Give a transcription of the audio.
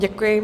Děkuji.